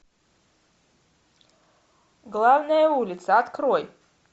главная улица открой